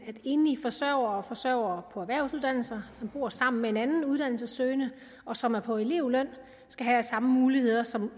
at enlige forsørgere og forsørgere på erhvervsuddannelser som bor sammen med en anden uddannelsessøgende og som er på elevløn skal have samme muligheder som